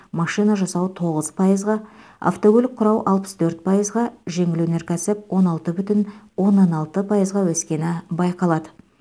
машина жасау тоғыз пайызға автокөлік құрау алпыс төрт пайызға жеңіл өнеркәсіп он алты бүтін оннан алты пайызға өскені байқалады